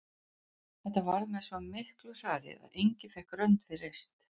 Þetta varð með svo miklu hraði að enginn fékk rönd við reist.